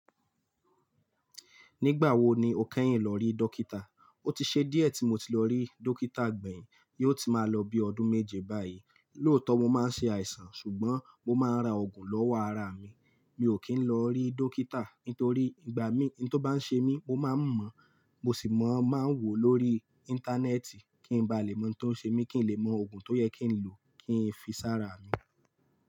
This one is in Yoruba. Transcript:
Nígbà wo ni o kẹ́yìn lọ rí dókítà? Ó ti ṣe díẹ̀ tí mo ti lọ rí dókítà gbẹ̀yìn, yóò ti máa lọ bí ọdún méje báyìí. Lóòótọ́ mo máa ń ṣe àìsàn ṣùgbọ́n mo máa ń ra òògùn lọ́wọ́ ara mi. Mi ò kí ń lọ rí dókítà nítorí ìgbà mi n tó bá ń ṣe mí mo máa ń mọ̀, mo sì máa ń wò lórí íńtánẹ́ẹ̀tì kí n ba lè mọ́ tó ń ṣe mi kí n lè mọ òògùn tó yẹ kí n lò kí n fi sára mi.